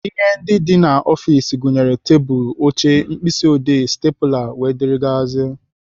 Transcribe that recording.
Ihe ndị dị n'ọfiks gụnyere tebụlụ, oche, mkpịsị odee, stepụla, dgz.